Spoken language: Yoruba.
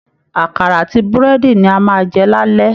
Àkàrà àti búrẹ́dì ni a máa jẹ lálẹ́